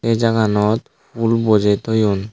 sey jaganot pul bojey toyon.